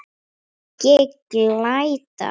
Hvergi glæta.